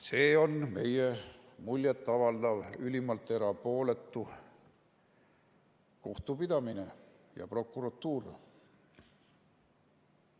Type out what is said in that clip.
See on meie muljet avaldav, ülimalt erapooletu kohtupidamine ja prokuratuur.